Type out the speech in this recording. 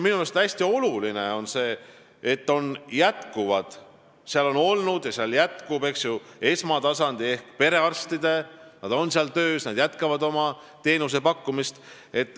Minu meelest on hästi oluline, et seal on olnud ja seal jätkub esmatasandi ehk perearstide töö, nad jätkavad teenusepakkumist.